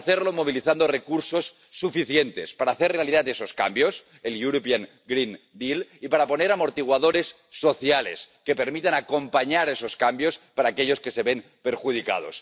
Y hay que hacerlo movilizando recursos suficientes para hacer realidad esos cambios —el European Green Deal y para poner amortiguadores sociales que permitan acompañar a esos cambios para aquellos que se ven perjudicados.